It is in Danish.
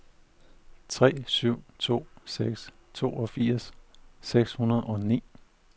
tre syv to seks toogfirs seks hundrede og ni